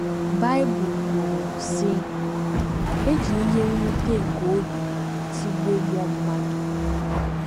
Bible kwuru, sị: “ E ji ihe mwute nke obi tigbuo mmụọ mmadụ. ”